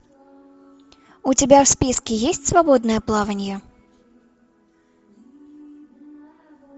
у тебя в списке есть свободное плавание